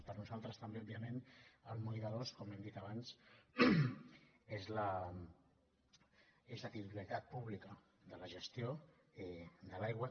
per nosaltres també òbviament el moll de l’os com hem dit abans és la titularitat pública de la gestió de l’aigua